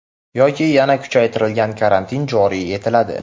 yoki yana kuchaytirilgan karantin joriy etiladi.